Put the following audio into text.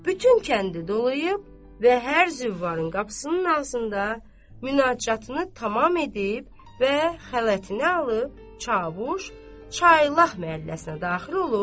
Bütün kəndi dolanıb və hər züvvarın qapısının ağzında münacatını tamam edib və xələtini alıb çavuş Çaylab məhəlləsinə daxil olub.